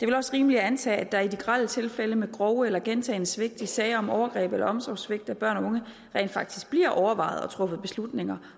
vel også rimeligt at antage at der i de grelle tilfælde af grove eller gentagne svigt i sager om overgreb eller omsorgssvigt af børn og unge rent faktisk bliver overvejet og truffet beslutninger